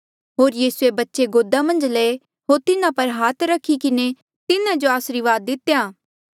होर यीसूए बच्चे गोदा मन्झ लये होर तिन्हा पर हाथ रखी किन्हें तिन्हा जो आसरीवाद दितेया